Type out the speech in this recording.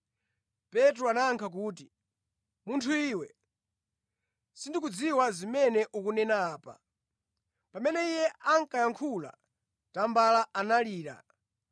Petro anayankha kuti, “Munthu iwe, sindikudziwa zimene ukunena apa.” Pamene iye ankayankhula, tambala analira.